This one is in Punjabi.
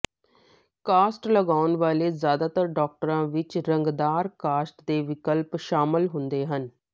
ਕਾਸਟ ਲਗਾਉਣ ਵਾਲੇ ਜ਼ਿਆਦਾਤਰ ਡਾਕਟਰਾਂ ਵਿੱਚ ਰੰਗਦਾਰ ਕਾਸਟ ਦੇ ਵਿਕਲਪ ਸ਼ਾਮਲ ਹੁੰਦੇ ਹਨ